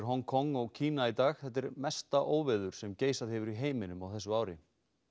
Hong Kong og Kína í dag þetta er mesta óveður sem geisað hefur í heiminum á þessu ári